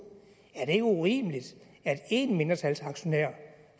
er det ikke urimeligt at én mindretalsaktionær